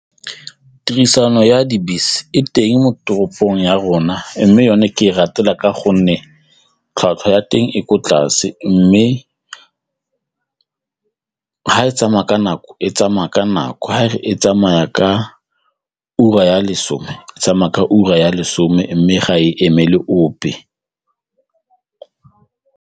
Tirisano ya dibese e teng mo toropong ya rona mme yone ke e ratela ka gonne tlhwatlhwa ya teng e ko tlase mme ga e tsamaya ka nako e tsamaya ka nako, ga re e tsamaya ka ura ya lesome e tsamaya ka ura ya lesome mme ga e emele ope.